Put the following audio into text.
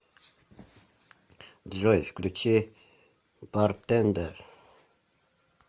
джой включи бартендер